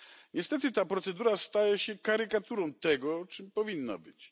Niestety ta procedura staje się karykaturą tego, czym powinna być.